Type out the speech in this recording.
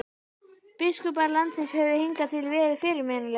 Biskupar landsins höfðu hingað til verið fyrirmannlegir.